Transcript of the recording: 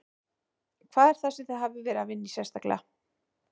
Hvað er það sem þið hafið verið að vinna í sérstaklega?